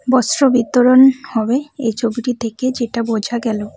বস্ত্রবিতরণ হবে এই ছবিটি থেকে যেটা বোঝা গেল।